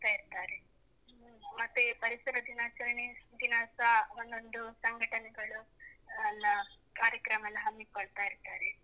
ಇರ್ತಾರೆ. ಮತ್ತೆ ಪರಿಸರ ದಿನಾಚರಣೆ ದಿನಸಾ ಒಂದೊಂದು ಸಂಘಟನೆಗಳು ಅಲ್ಲ ಕಾರ್ಯಕ್ರಮ ಎಲ್ಲ ಹಮ್ಮಿಕೊಳ್ತಾ ಇರ್ತಾರೆ.